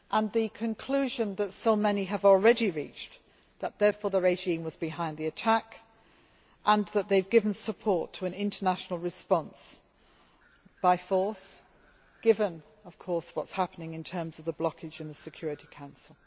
The conclusion that so many have already reached is that therefore the regime was behind the attack and they have given support to an international response by force, given what is happening in terms of the blockage of the Security Council.